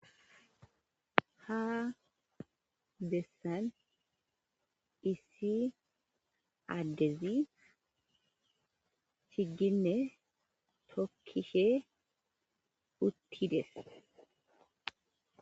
Ha bessan issi addezi chigginne tookkishe uttides.